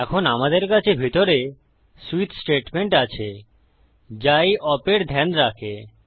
এখন আমাদের কাছে ভিতরে সুইচ স্টেটমেন্ট আছে যা এই ওপ এর ধ্যান রাখে